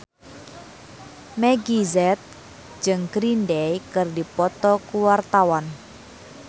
Meggie Z jeung Green Day keur dipoto ku wartawan